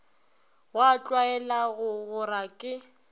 wa tlwaela go gora ke